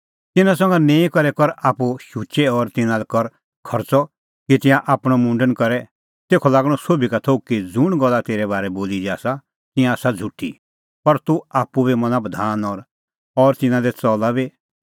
तिन्नां संघा निंईं करै कर आप्पू शुचै और तिन्नां लै कर खर्च़अ कि तिंयां आपणअ मुंडन करे तेखअ लागणअ सोभी का थोघ कि ज़ुंण गल्ला तेरै बारै बोली दी आसा तिंयां आसा झ़ुठी पर तूह आप्पू बी मना बधान और तिन्नां दी च़ला बी